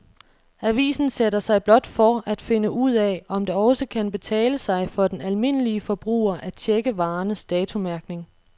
Avisen sætter sig blot for at finde ud af, om det også kan betale sig for den almindelige forbruger at checke varernes datomærkning.